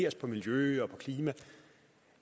os på miljø og på klima